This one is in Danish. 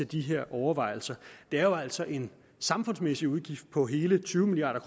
de her overvejelser det er jo altså en samfundsmæssig udgift på hele tyve milliard